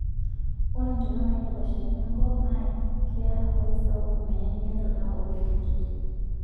Ore ntonaa naidapashakino enkop naakeya nafasi sapuk, menyanyukie ntona oo orkiek kutitii.